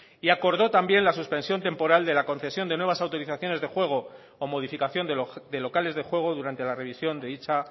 y acordó también la suspensión temporal de la concesión de nuevas autorizaciones de juego o modificación de locales de juego durante la revisión de dicha